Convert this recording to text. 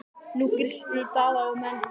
Nú grillti í Daða og menn hans.